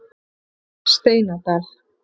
Steinadal